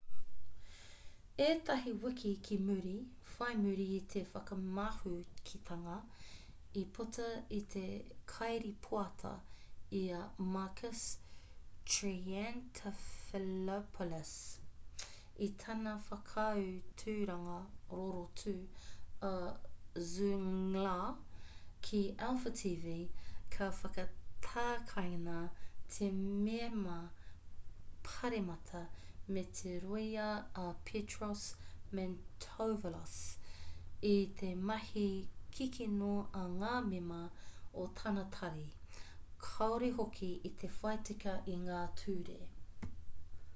ētahi wiki ki muri whai muri i te whakamahukitanga i puta i te kairīpoata i a makis triantafylopoulos i tana whakaaturanga rorotu a zoungla ki alpha tv ka whakatakaina te mema pāremata me te rōia a petros mantouvalos i te mahi kikino a ngā mema o tana tari kāore hoki i te whai tika i ngā ture